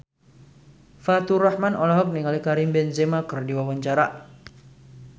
Faturrahman olohok ningali Karim Benzema keur diwawancara